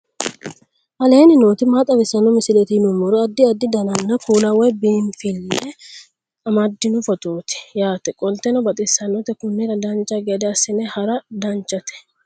aleenni nooti maa xawisanno misileeti yinummoro addi addi dananna kuula woy biinsille amaddino footooti yaate qoltenno baxissannote konnira dancha gede assine haara danchate